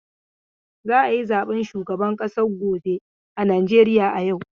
Za a yi zaben shugaban ƙasa gobe a Najeriya yau.